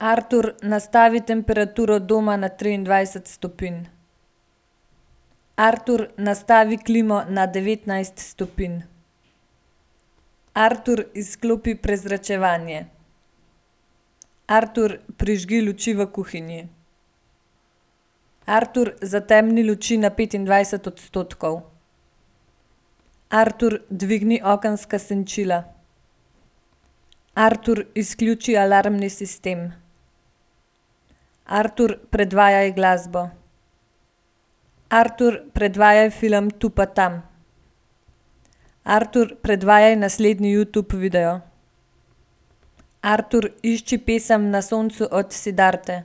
Artur, nastavi temperaturo doma na triindvajset stopinj. Artur, nastavi klimo na devetnajst stopinj. Artur, izklopi prezračevanje. Artur, prižgi luči v kuhinji. Artur, zatemniti luči na petindvajset odstotkov. Artur, dvigni okenska senčila. Artur, izključi alarmni sistem. Artur, predvajaj glasbo. Artur, predvajaj film Tu pa tam. Artur, predvajaj naslednji Youtube video. Artur, išči pesem Na soncu od Siddharte.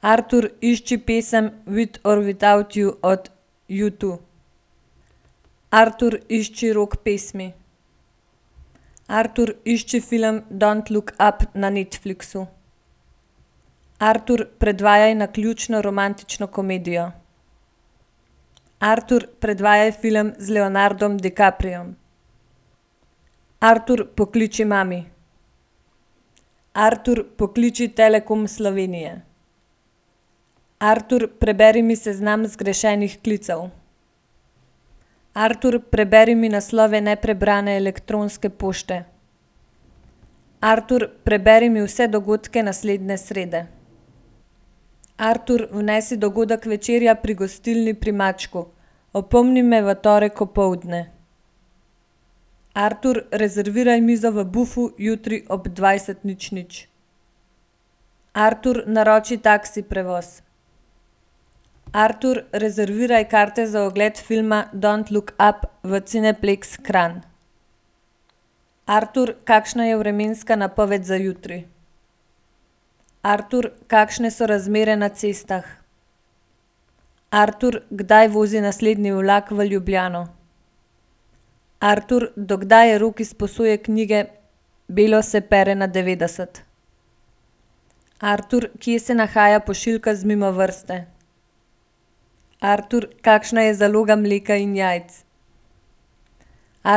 Artur, išči pesem With or without you od Utwo. Artur, išči rock pesmi. Artur, išči film Don't look up na Netflixu. Artur, predvajaj naključno romantično komedijo. Artur, predvajaj film z Leonardom DiCapriom. Artur, pokliči mami. Artur, pokliči Telekom Slovenije. Artur, preberi mi seznam zgrešenih klicev. Artur, preberi mi naslove neprebrane elektronske pošte. Artur, preberi mi vse dogodke naslednje srede. Artur, vnesi dogodek večerja pri gostilni Pri mačku. Opomni me v torek opoldne. Artur, rezerviraj mizo v Bufu jutri ob dvajset nič nič. Artur, naroči taksi prevoz. Artur, rezerviraj karte za ogled filma Don't look up v Cineplexx Kranj. Artur, kakšna je vremenska napoved za jutri? Artur, kakšne so razmere na cestah? Artur, kdaj vozi naslednji vlak v Ljubljano? Artur, do kdaj je rok izposoje knjige Belo se pere na devetdeset? Artur, kje se nahaja pošiljka z Mimovrste? Artur, kakšna je zaloga mleka in jajc?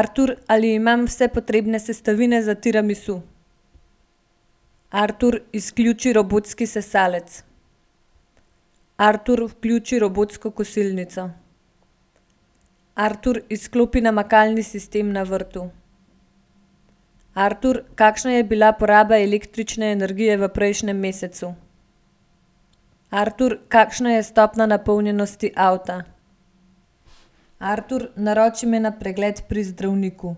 Artur, ali imam vse potrebne sestavine za tiramisu? Artur, izključi robotski sesalec. Artur, vključi robotsko kosilnico. Artur, izklopi namakalni sistem na vrtu. Artur, kakšna je bila poraba električne energije v prejšnjem mesecu? Artur, kakšna je stopnja napolnjenosti avta? Artur, naroči me na pregled pri zdravniku.